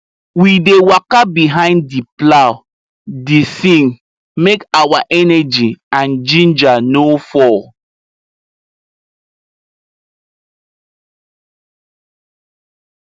we dey waka behind the plow dey sing make our energy and ginger no fall